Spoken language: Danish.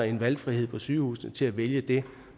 en valgfrihed på sygehusene til at vælge det